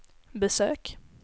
besök